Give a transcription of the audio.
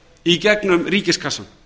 í gegnum ríkiskassann